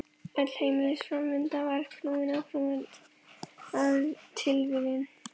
Öll heimsins framvinda var knúin áfram af tilviljunum.